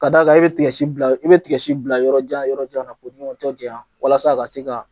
Ka d'a kan e be bila i bɛ bila yɔrɔ jan yɔrɔ jan yɔrɔ jan na koni o tɛ jaɲa walasa a ka se ka